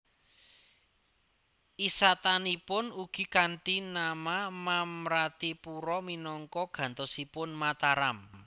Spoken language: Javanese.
Isatananipun ugi kanthi nama Mamratipura minangka gantosipun Mataram